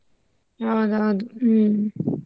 ಹೌದೌದು ಹ್ಮ್.